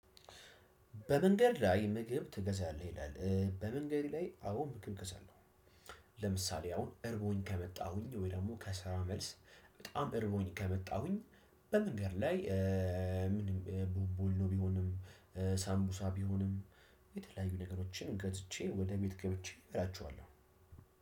በመንገድ ላይ ምግብ ትገዛለህ ይላል በመንገድ ላይ አዎ ምግብ ትገዛለህ? ለምሳሌ አሁን እርቦኝ ከመጣሁኝ ወይ ደግሞ ከስራ መልስ በጣም እረርቦኝ ከመጣሁኝ። በመንገድ ላይ ምንድን ቦንቦሊኖ ቢሆንም። ሳምቡሳ ቢሆንም። የተለያዩ ነገሮችን ገዝቼ ወደ ቤት ገብቼ እበላቸዋለሁ።